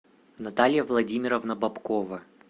наталья владимировна бабкова